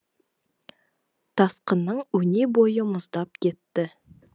тасқынның өне бойы мұздап кетті